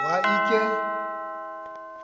wa l khe